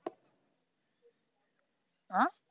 হ্যাঁ?